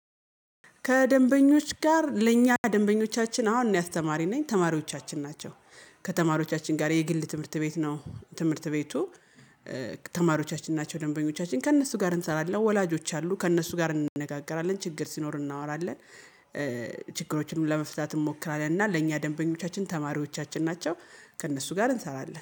ከደንበኞች ጋር ለእኛ ደንበኞቻችን አሁን እኔ አስተማሪ ነኝ ተማሪዎቻችን ናቸው። ከተማሪዎቻችን ጋር የግል ትምህርት ቤት ነው ትምህርት ቤቱ። ተማሪዎቻችን ናቸው ደንበኞቻችን ከእነሱ ጋር እንሰራለን ወላጆች አሉ ከእነሱ ጋር እንነጋገራለን ችግር ሲኖር እናወራለን። ችግሮችንም ለመፍታት እንሞክራለን እና ለእኛ ደንበኞቻችን ተማሪዎቻችን ናቸው። ከእነሱ ጋር እንሰራለን